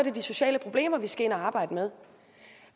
er de sociale problemer vi skal ind og arbejde med